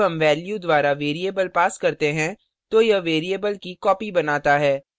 जब हम value द्वारा variable pass करते हैं तो यह variable की copy बनाता है